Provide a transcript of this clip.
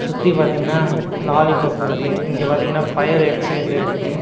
சுத்தி பாத்தீங்கன்னா லாலிபாப் இருக்கு இங்க பார்த்தீங்கன்னா ஃபயர் எக்சேஸர் இருக்கு.